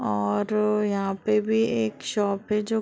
और यहाँ पे भी एक शॉप है। जो--